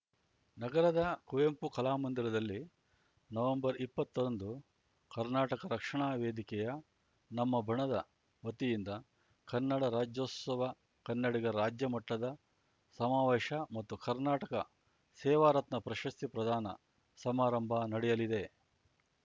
ನಗರದ ಕುವೆಂಪು ಕಲಾ ಮಂದಿರದಲ್ಲಿ ನವಂಬರ್ಇಪ್ಪತ್ತರಂದು ಕರ್ನಾಟಕ ರಕ್ಷಣಾ ವೇದಿಕೆಯ ನಮ್ಮ ಬಣದ ವತಿಯಿಂದ ಕನ್ನಡ ರಾಜ್ಯೋತ್ಸವ ಕನ್ನಡಿಗರ ರಾಜ್ಯ ಮಟ್ಟದ ಸಮಾವೇಶ ಮತ್ತು ಕರ್ನಾಟಕ ಸೇವಾರತ್ನ ಪ್ರಶಸ್ತಿ ಪ್ರದಾನ ಸಮಾರಂಭ ನಡೆಯಲಿದೆ